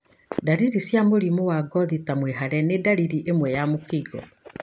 Ndaririri cia mũrimũ wa ngothi ta mwĩhare nĩ ndariri ĩmwe ya mũkingo.